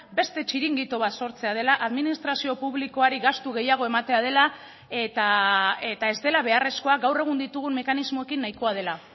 beste txiringito bat sortzea dela administrazio publikoari gastu gehiago ematea dela eta ez dela beharrezkoa gaur egun ditugun mekanismoekin nahikoa dela